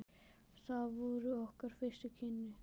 Það voru okkar fyrstu kynni.